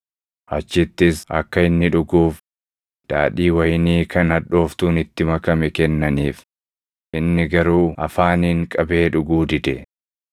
Achittis akka inni dhuguuf daadhii wayinii kan hadhooftuun itti makame kennaniif; inni garuu afaaniin qabee dhuguu dide.